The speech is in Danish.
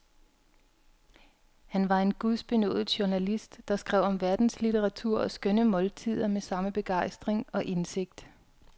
Han var en gudbenådet journalist, der skrev om verdenslitteratur og skønne måltider med samme begejstring og indsigt.